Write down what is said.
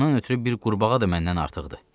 Ondan ötrü bir qurbağa da məndən artıqdır.